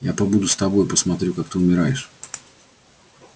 я побуду с тобой посмотрю как ты умираешь